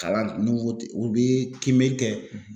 Kalan ko u bɛ kiimɛli kɛ